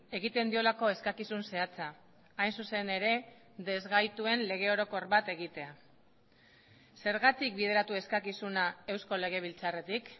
egiten diolako eskakizun zehatza hain zuzen ere desgaituen lege orokor bat egitea zergatik bideratu eskakizuna eusko legebiltzarretik